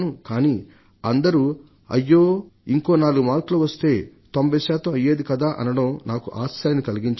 కానీ అందరూ అయ్యో ఇంకో నాలుగు మార్కులు వస్తే 90 శాతం అయ్యేది కదా అనడం నాకు ఆశ్చర్యాన్ని కలిగించింది